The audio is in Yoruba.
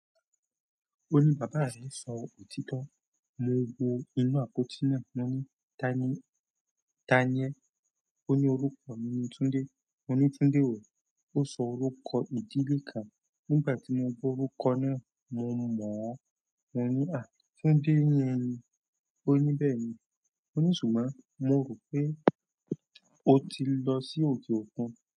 Ó ní bàbá rẹ̀ sọ òtítọ́, mo wo inú àpótí náà, ó ní Tánìì, Tánìyẹ́. Ó ní ọruko mi ni Tunde. Mo ní Tunde wo? Ó sọ́ orúkọ ìdílé kan. Nígbàtí mo gbọ orúkọ náà mo mọ. Mo ní, à Tunde yen ni. Ó ní bẹ́ẹ̀ ni. Moni ṣùgbọ́n mo ro pe otilo si oke òkun.